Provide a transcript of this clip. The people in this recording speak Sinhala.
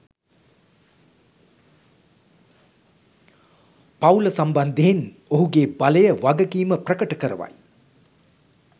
පවුල සම්බන්ධයෙන් ඔහුගේ බලය වගකීම ප්‍රකට කරවයි.